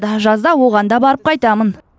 жазда оған да барып қайтамын